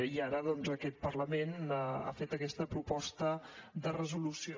i ara doncs aquest parlament ha fet aquesta proposta de resolució